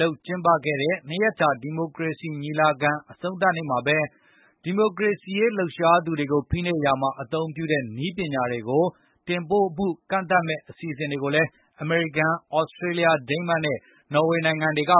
လုပ် ကျင်းပတဲ့ ၂ ရက်ကြာ ဒီမိုကရေစီ ညီလာခံ အဆုံးသတ်နေ့မှာပဲ ဒီမိုကရေစီရေး လှုပ်ရှားသူတွေကို ဖိနှိပ်ရာမှာ အသုံးပြုတဲ့ နည်းပညာတွေကို တင်ပို့မှု ကန့်သတ်မယ့် အစီအစဉ်တွေကိုလည်း အမေရိကန်၊ သြစတြေးလျ၊ ဒိန်းမတ်နဲ့ နော်ဝေနိုင်ငံတွေက